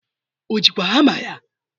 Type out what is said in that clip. O ji kwa hama ya?